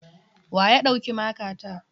Wa ya ɗauki makata?